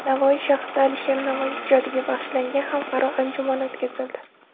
Navoiy shahrida Alisher Navoiy ijodiga bag‘ishlangan xalqaro anjuman o‘tkazildi.